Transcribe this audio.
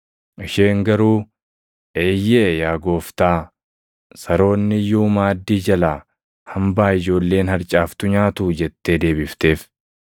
Isheen garuu, “Eeyyee yaa Gooftaa, saroonni iyyuu maaddii jalaa hambaa ijoolleen harcaaftu nyaatuu” jettee deebifteef.